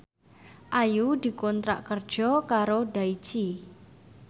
Ayu dikontrak kerja karo Daichi